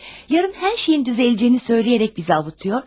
Sabah hər şeyin düzələcəyini söyləyərək bizi ovundurur.